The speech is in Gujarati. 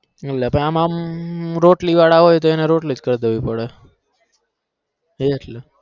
એ વાત અમમ રોટલી વાળા હોય તો રોટલી જ કર દેવી પદ એટલે